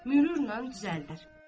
mürürlə düzəldər.